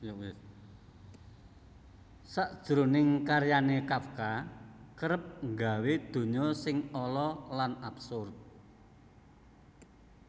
Sajroning karyané Kafka kerep nggawé donya sing ala lan absurd